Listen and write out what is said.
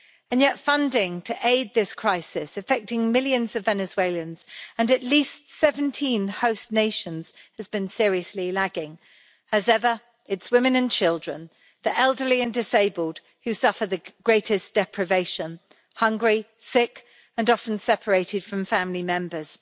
Yet funding to aid this crisis affecting millions of Venezuelans and at least 17 host nations, has been seriously lagging. As ever, it's women and children, the elderly and disabled who suffer the greatest deprivation hungry, sick and often separated from family members.